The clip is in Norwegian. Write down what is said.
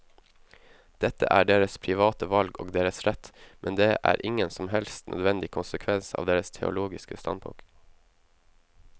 Dette er deres private valg og deres rett, men det er ingen som helst nødvendig konsekvens av deres teologiske standpunkt.